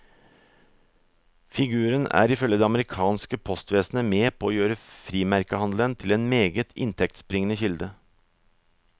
Figuren er ifølge det amerikanske postvesenet med på å gjøre frimerkehandelen til en meget inntektsbringende kilde.